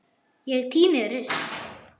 Ég tíni rusl.